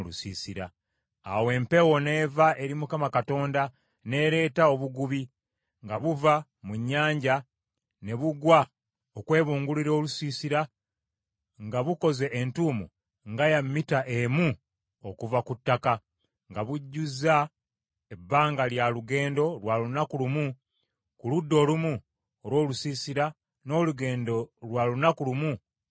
Awo empewo n’eva eri Mukama Katonda n’ereeta obugubi nga buva mu nnyanja ne bugwa okwebungulula olusiisira nga bukoze entuumo nga ya mita emu okuva ku ttaka, nga bujjuza ebbanga lya lugendo lwa lunaku lumu ku ludda olumu olw’olusiisira n’olugendo lwa lunaku lumu ku ludda olulala.